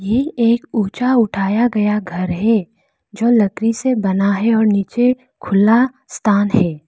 ये एक ऊंचा उठाया गया घर है जो लकड़ी से बना है और नीचे खुला स्थान है।